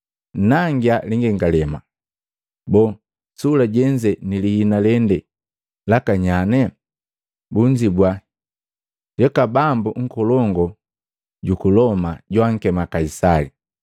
“Nnangia lingengalema. Boo, sula jenze ni lihina lende laka nyane?” Bunzibua, “Yuku bambu nkolongu juku Loma joakema Kaisali.”